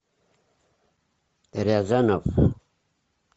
рязанов